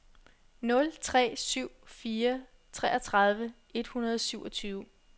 nul tre syv fire treogtredive et hundrede og syvogtyve